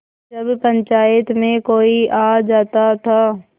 जब पंचायत में कोई आ जाता था